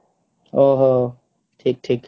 ଓହୋ ଠିକ ଠିକ